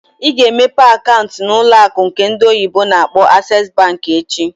Ị ga emepe akaant n'ụlọ akụ nke ndị oyibo na akpọ "Access Bank" echi!